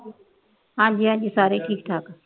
ਹਾਂਜੀ ਹਾਂਜੀ ਸਾਰੇ ਠੀਕ ਠਾਕ